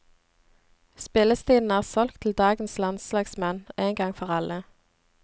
Spillestilen er solgt til dagens landslagsmenn en gang for alle.